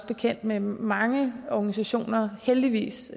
bekendt med mange organisationer heldigvis